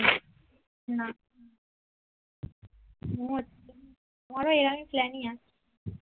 না মওজ আমারো এর আগে প্লানিয়া